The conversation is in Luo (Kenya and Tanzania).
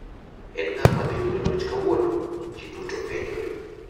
En ng'awa madhi yudo loch kawuono? Ji duto penjore.